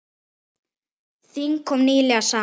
Þing kom nýlega saman.